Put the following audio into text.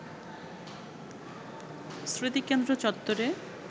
স্মৃতিকেন্দ্র চত্বরে